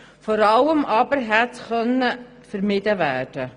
Vor allem aber könnte dies vermieden werden.